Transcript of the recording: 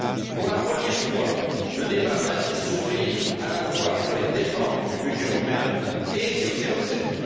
Pour la première fois, le débat va ainsi s'ouvrir à la fois sur les dépenses du budget européen et sur ses recettes.